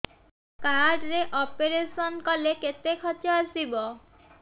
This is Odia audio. କାର୍ଡ ରେ ଅପେରସନ କଲେ କେତେ ଖର୍ଚ ଆସିବ